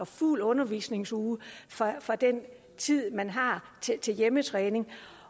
fuld undervisningsuge fra den tid man har til hjemmetræning